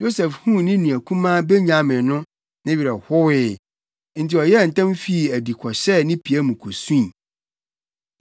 Yosef huu ne nua kumaa Benyamin no, ne werɛ howee, enti ɔyɛɛ ntɛm fii adi kɔhyɛɛ ne pia mu kosui.